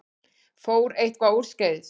Fór eitthvað úrskeiðis?